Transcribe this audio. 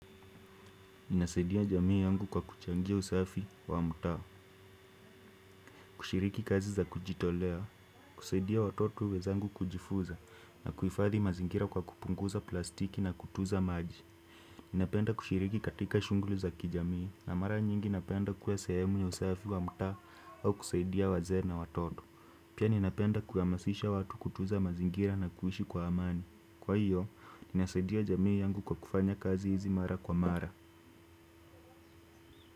Ninasaidia jamii yangu kwa kuchangia usafi wa mtaa. Kushiriki kazi za kujitolea, kusaidia watoto wenzangu kujifunza na kuhifadhi mazingira kwa kupunguza plastiki na kutunza maji. Napenda kushiriki katika shughuli za kijamii na mara nyingi napenda kuwa sehemu ya usafi wa mtaa au kusaidia wazee na watoto. Pia ninapenda kuhamasisha watu kutunza mazingira na kuishi kwa amani. Kwa hiyo, ninasaidia jamii yangu kwa kufanya kazi hizi mara kwa mara.